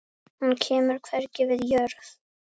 Hann kemur hvergi við jörð.